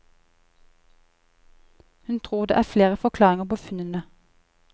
Hun tror det er flere forklaringer på funnene.